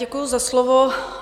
Děkuji za slovo.